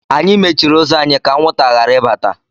Anyị mechiri ụzọ anyị ka anwụnta ghara ibata.